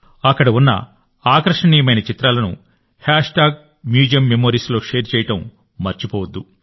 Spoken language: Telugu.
అక్కడ ఉన్న ఆకర్షణీయమైన చిత్రాలను హ్యాష్ట్యాగ్ మ్యూజియం మెమోరీస్లో షేర్ చేయడం మర్చిపోవద్దు